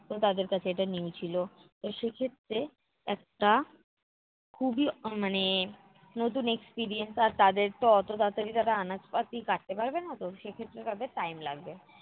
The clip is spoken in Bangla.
তো তাদের কাছে এটা new ছিল। সেক্ষেত্রে একটা খুবই আহ মানে নতুন experience আর তাদের তো অতো তাড়াতাড়ি তারা আনাজপাতি কাটতে পারবে না তো সেক্ষেত্রে তাদের time লাগবে।